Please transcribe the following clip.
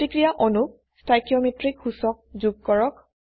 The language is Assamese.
প্ৰতিক্ৰিয়া অণুকstoichiometric সূচক যোগ কৰক 3